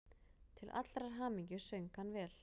Til allrar hamingju söng hann vel!